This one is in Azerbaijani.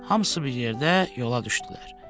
Hamısı bir yerdə yola düşdülər.